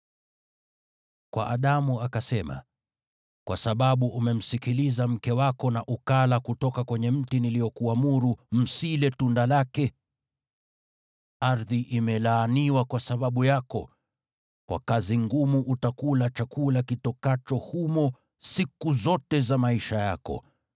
Kwa Adamu akasema, “Kwa sababu umemsikiliza mke wako na ukala kutoka kwenye mti niliokuamuru, ‘Msile tunda lake,’ “Ardhi imelaaniwa kwa sababu yako, kwa kazi ngumu utakula chakula kitokacho humo siku zote za maisha yako.